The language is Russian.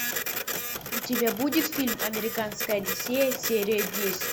у тебя будет фильм американская одиссея серия десять